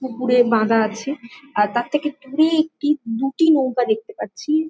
পুকুরে বাঁধা আছে | আর তার থেকে দূরে একটি দুটি নৌকা দেখতে পাচ্ছি |